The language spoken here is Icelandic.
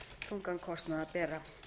þungan kostnað að bera